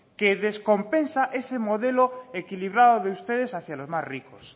que descompensa ese modelo equilibrado de ustedes hacia los más ricos